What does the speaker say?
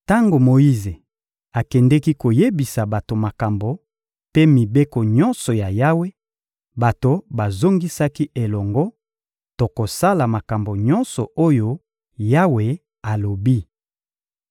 Tango Moyize akendeki koyebisa bato makambo mpe mibeko nyonso ya Yawe, bato bazongisaki elongo: — Tokosala makambo nyonso oyo Yawe alobi.